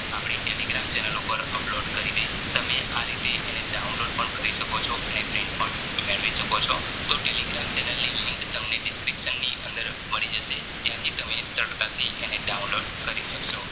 અને આપડી Telegram channel ઉપર upload કરી દઈશ તમે આરીતે એને Download પણ કરી શકો છો અને પણ મેળવી શકો છો તો Telegram channel ની link તમને Description ની અંદર મળી જશે ત્યાંથી તમે સરળ તાથી તમે Download કરી સક્સો